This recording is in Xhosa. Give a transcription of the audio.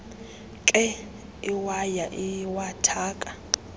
nkee iwaya iwathaka